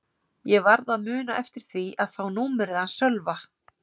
Ég varð að muna eftir því að fá númerið hans Sölva.